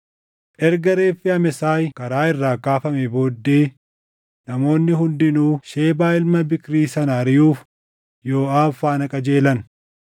Erga reeffi Amesaay karaa irraa kaafamee booddee namoonni hundinuu Shebaa ilma Biikrii sana ariʼuuf Yooʼaab faana qajeelan.